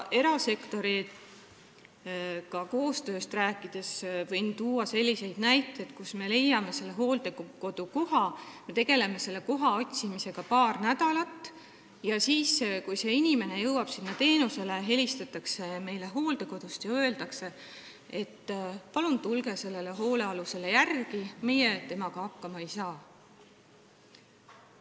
Erasektoriga koostööst rääkides võin tuua selliseid näiteid, et me tegeleme koha otsimisega paar nädalat ja leiame selle, aga pärast seda, kui see inimene on sinna hooldekodusse jõudnud, helistatakse meile sealt ja öeldakse, et palun tulge hoolealusele järele, meie temaga hakkama ei saa.